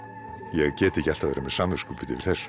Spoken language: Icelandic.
ég get ekki alltaf verið með samviskubit yfir þessu